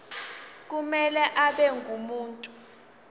kumele abe ngumuntu